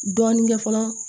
Dɔɔnin kɛ fɔlɔ